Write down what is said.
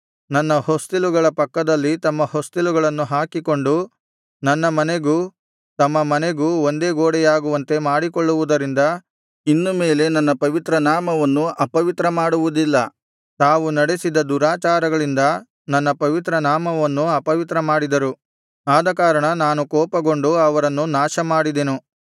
ನನ್ನ ಹೊಸ್ತಿಲುಗಳ ಪಕ್ಕದಲ್ಲಿ ತಮ್ಮ ಹೊಸ್ತಿಲುಗಳನ್ನು ಹಾಕಿಕೊಂಡು ನನ್ನ ಮನೆಗೂ ತಮ್ಮ ಮನೆಗೂ ಒಂದೇ ಗೋಡೆಯಾಗುವಂತೆ ಮಾಡಿಕೊಳ್ಳುವುದರಿಂದ ಇನ್ನು ಮೇಲೆ ನನ್ನ ಪವಿತ್ರ ನಾಮವನ್ನು ಅಪವಿತ್ರ ಮಾಡುವುದಿಲ್ಲ ತಾವು ನಡೆಸಿದ ದುರಾಚಾರಗಳಿಂದ ನನ್ನ ಪವಿತ್ರ ನಾಮವನ್ನು ಅಪವಿತ್ರ ಮಾಡಿದರು ಆದಕಾರಣ ನಾನು ಕೋಪಗೊಂಡು ಅವರನ್ನು ನಾಶಮಾಡಿದೆನು